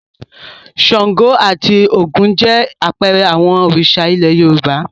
Ṣàngó àti Ògún jẹ́ àpẹẹrẹ àwọn Òrìṣà ilẹ̀ Yorùbá.